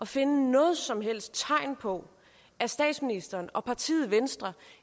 finde noget som helst tegn på at statsministeren og partiet venstre